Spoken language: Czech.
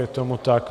Je tomu tak.